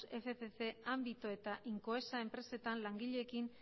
fcc ámbito eta incoesa enpresetan langileekin